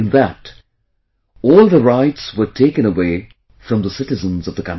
In that, all the rights were taken away from the citizens of the country